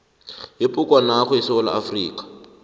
yebhugwanakho yesewula afrika